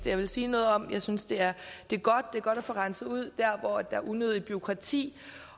jeg ville sige noget om jeg synes det er godt at få renset ud der hvor der er unødigt bureaukrati